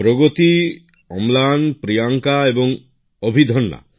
প্রগতি অম্লান প্রিয়াঙ্কা এবং অভিদন্যা